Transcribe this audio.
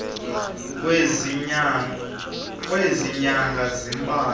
kwezi nyanga zimbalwa